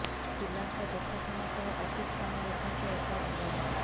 ପିଲାଙ୍କ ଦେଖାଶୁଣା ସହ ଅଫିସ କାମ ମଧ୍ୟ ସେ ଏକା ସମ୍ଭାଳନ୍ତି